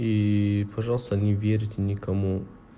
ии пожалуйста не верьте никому